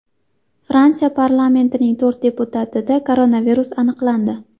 Fransiya parlamentining to‘rt deputatida koronavirus aniqlandi.